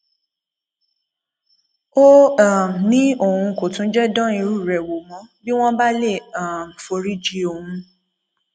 ó um ní òun kò tún jẹ dán irú rẹ wò mọ bí wọn bá lè um foríjì òun